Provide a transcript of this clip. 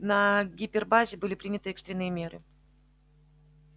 на гипербазе были приняты экстренные меры